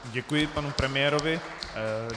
Děkuji panu premiérovi.